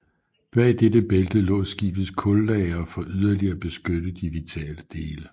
Bag dette bælte lå skibets kullagre for yderligere at beskytte de vitale dele